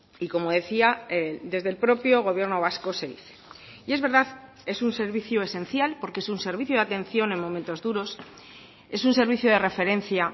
y como decía desde el propio gobierno vasco se dice y es verdad es un servicio esencial porque es un servicio de atención en momentos duros es un servicio de referencia